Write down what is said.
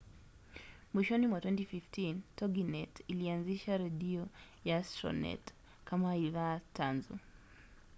mwishoni mwa 2015 toginet ilianzisha redio ya astronet kama idhaa tanzu